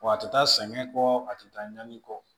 Wa a tɛ taa sɛgɛn kɔ a tɛ taa ɲani kɔ